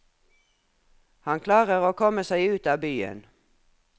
Han klarer å komme seg ut av byen.